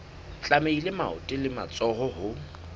tlamehile maoto le matsoho ho